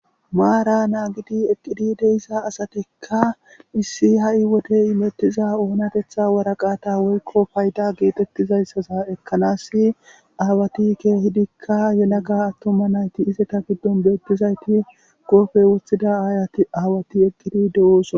Maara naa gidi eqqidi deyssa asatikka misi ha'i wodey imettiza oonatetha waraqata woykko payda geetettizayssaza ekkanasi aawati keehidikka yelaga attoma nayti iseta giddon beettizayti goofe wothida aayati aawati eqqidi de'ooson.